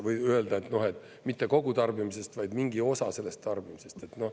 Või öelda, et mitte kogu tarbimisest, vaid mingi osa sellest tarbimisest.